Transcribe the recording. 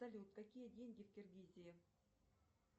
салют какие деньги в киргизии